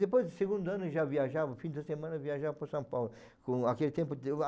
Depois do segundo ano, já viajava, no fim da semana viajava para São Paulo. Com aquele tempo deu